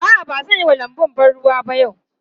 A'a, ba zan yi wa lanbun ban ruwa ba yau.